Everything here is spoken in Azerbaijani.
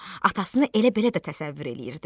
Atasını elə-belə də təsəvvür eləyirdi.